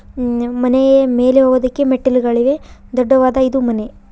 ಮ್ಮ್- ಮನೆಯ ಮೇಲೆ ಹೋಗುದಕ್ಕೆ ಮೆಟ್ಟಿಲುಗಳಿವೆ ದೊಡ್ಡವಾದ ಇದು ಮನೆ.